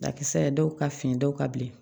Dakisɛ dɔw ka fin dɔw ka bilen